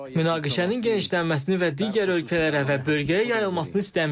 Münaqişənin genişlənməsini və digər ölkələrə və bölgəyə yayılmasını istəmirik.